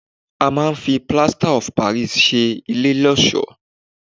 A máa ń fi Plaster of Paris ṣe ilé lọ́ọ̀ṣọ́.